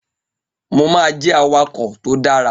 Mo máa jẹ́ awakọ̀ tó dára